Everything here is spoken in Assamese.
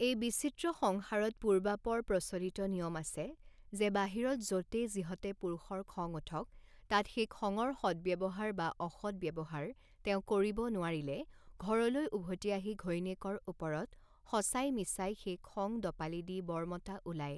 এই বিচিত্ৰ সংসাৰত পূৰ্বাপৰ প্ৰচলিত নিয়ম আছে, যে বাহিৰত য তে যিহতে পুৰুষৰ খং উঠক, তাত সেই খঙৰ সদ্ব্যৱহাৰ বা অসদ্ব্যৱহাৰ তেওঁ কৰিব নোৱাৰিলে, ঘৰলৈ উভতি আহি ঘৈণীয়েকৰ ওপৰত, সঁচাই মিছাই সেই খং দপালি দি বৰ মতা ওলায়।